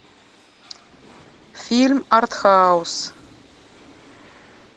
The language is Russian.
фильм арт хаус